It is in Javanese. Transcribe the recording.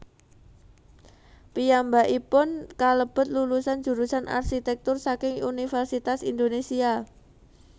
Piyambakipun kalebet lulusan jurusan arsitèktur saking Universitas Indonésia